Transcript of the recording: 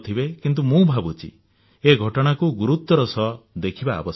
କିନ୍ତୁ ମୁଁ ଭାବୁଛି ଏ ଘଟଣାକୁ ଗୁରୁତ୍ୱର ସହ ଦେଖିବା ଆବଶ୍ୟକ